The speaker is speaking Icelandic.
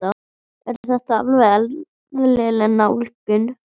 Er þetta alveg eðlileg nálgun?